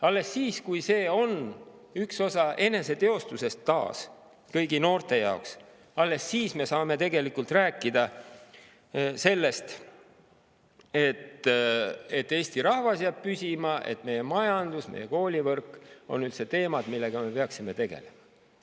Alles siis, kui see on üks osa eneseteostusest taas kõigi noorte jaoks, me saame tegelikult rääkida sellest, et Eesti rahvas jääb püsima, et meie majandus ja meie koolivõrk on üldse teemad, millega me peaksime tegelema.